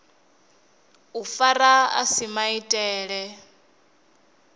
u fara a si maitele